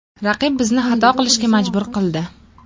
Raqib bizni xato qilishga majbur qildi.